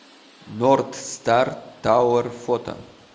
нордстар тауэр фото